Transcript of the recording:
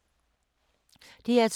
DR2